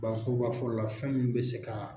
Bakurubafɔli la fɛn min bɛ se ka.